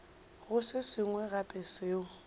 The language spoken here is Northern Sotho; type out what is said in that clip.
go se sengwe gape seo